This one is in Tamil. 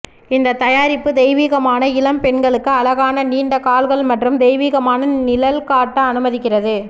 இந்த தயாரிப்பு தெய்வீகமான இளம் பெண்களுக்கு அழகான நீண்ட கால்கள் மற்றும் தெய்வீகமான நிழல் காட்ட அனுமதிக்கிறது